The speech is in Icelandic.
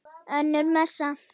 Önnur messa.